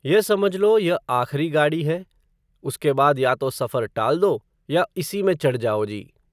यह समझ लो, यह आखरी गाड़ी है, उसके बाद या तो सफ़र टाल दो, या इसी में चढ़ जाओ जी